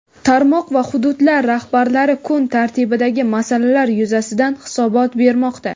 tarmoq va hududlar rahbarlari kun tartibidagi masalalar yuzasidan hisobot bermoqda.